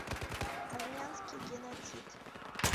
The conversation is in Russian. армянский геноцид